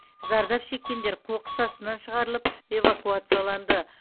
зардап шеккендер қоқыс астынан шығарылып эвакуацияланды